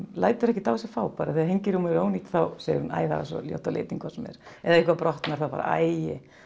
lætur ekkert á sig fá þegar er ónýtt þá segir hún æi það var svo ljótt á litinn hvort sem er ef eitthvað brotnar æi